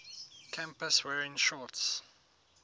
campus wearing shorts